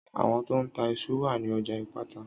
Àwon to n ta isu wa ni ọjà ìpátá